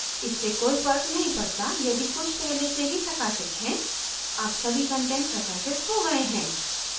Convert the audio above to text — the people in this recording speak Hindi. इससे कोई फर्क नहीं पड़ता यदि कुछ पहले से ही प्रकाशित हैं अब सभी कंटेंट प्राकाशित हो गया है